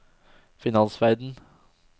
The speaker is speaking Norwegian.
finansverden